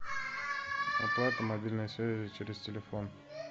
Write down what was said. оплата мобильной связи через телефон